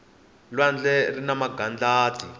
lwandle rina magadlati